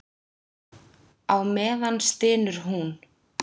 Á meðan stynur hún.